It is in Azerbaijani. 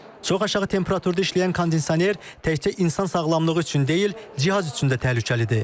Çox aşağı temperaturda işləyən kondisioner təkçə insan sağlamlığı üçün deyil, cihaz üçün də təhlükəlidir.